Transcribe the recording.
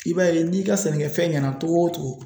I b'a ye n'i ka sɛnɛkɛfɛn ɲɛna togo o togo